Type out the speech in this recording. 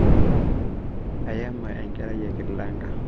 eyama enkerai e kilanka